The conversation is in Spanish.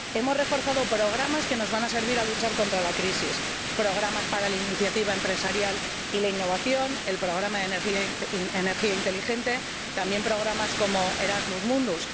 Hemos reforzado programas que nos van a servir para luchar contra la crisis programas para la iniciativa empresarial y la innovación, el programa de energía inteligente o programas como Erasmus Mundus.